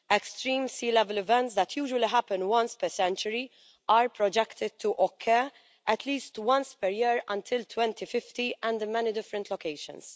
Extreme sea level events that usually happen once per century are projected to occur at least once per year until 2050 and in many different locations.